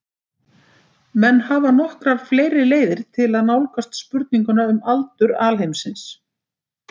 Menn hafa nokkrar fleiri leiðir til að nálgast spurninguna um aldur alheimsins.